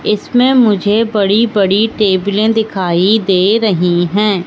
इसमें मुझे बड़ी बड़ी टैबले दिखाई दे रही है।